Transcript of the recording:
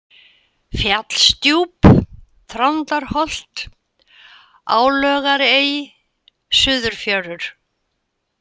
Fjallsdjúp, Þrándarholt, Álögarey, Suðurfjörur